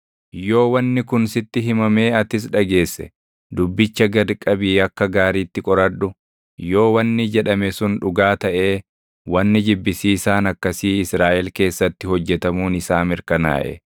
yoo wanni kun sitti himamee atis dhageesse, dubbicha gad qabii akka gaariitti qoradhu; yoo wanni jedhame sun dhugaa taʼee wanni jibbisiisaan akkasii Israaʼel keessatti hojjetamuun isaa mirkanaaʼe,